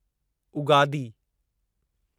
Ugadi